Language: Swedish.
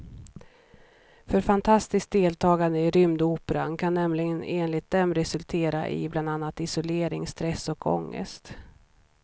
För fanatiskt deltagande i rymdoperan kan nämligen enligt dem resultera i bland annat isolering, stress och ångest.